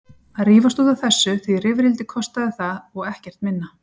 Að rífast út af þessu, því rifrildi kostaði það og ekkert minna.